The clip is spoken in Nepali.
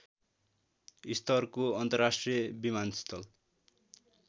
स्तरको अन्तर्राष्ट्रिय विमानस्थल